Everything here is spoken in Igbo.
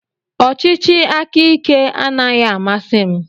Ọchịchị aka ike anaghị amasị m.